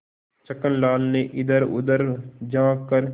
छक्कन लाल ने इधरउधर झॉँक कर